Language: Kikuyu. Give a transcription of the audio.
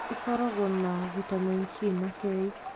ĩkorogwo na vitameni C na K.